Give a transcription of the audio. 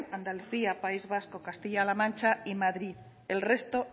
andalucía país vasco castilla la mancha y madrid el resto